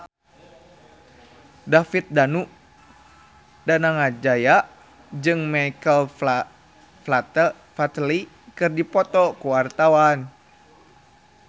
David Danu Danangjaya jeung Michael Flatley keur dipoto ku wartawan